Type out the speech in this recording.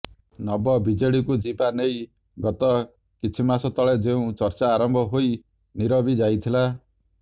ନବ ବିଜେଡିକୁ ଯିବା ନେଇ ଗତ କିଛି ମାସ ତଳେ ଯେଉଁ ଚର୍ଚ୍ଚା ଆରମ୍ଭ ହୋଇ ନିରବୀ ଯାଇଥିଲା